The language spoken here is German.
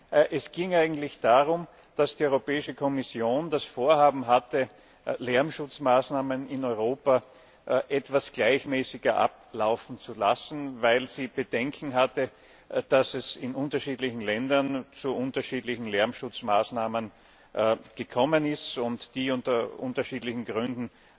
Nein, es ging eigentlich darum, dass die Europäische Kommission das Vorhaben hatte, Lärmschutzmaßnahmen in Europa etwas gleichmäßiger ablaufen zu lassen, weil sie Bedenken hatte, dass es in unterschiedlichen Ländern zu unterschiedlichen Lärmschutzmaßnahmen gekommen ist, die unter unterschiedlichen Gründen